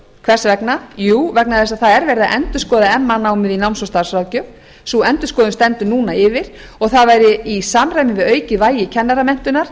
hvers árna jú vegna þess að það er verið að endurskoða meðal annars námið í náms og starfsráðgjöf sú endurskoðun stendur núna yfir og það væri í samræmi við aukið vægi kennaramenntunar